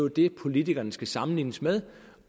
det politikerne skal sammenlignes med